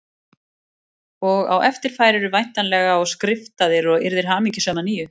Og á eftir færirðu væntanlega og skriftaðir og yrðir hamingjusöm að nýju